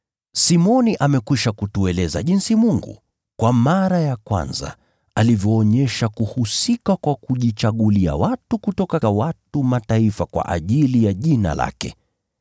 Simoni amekwisha kutueleza jinsi Mungu, kwa mara ya kwanza alivyoonyesha kuhusika kwa kujichagulia watu kutoka watu wa Mataifa kwa ajili ya Jina lake.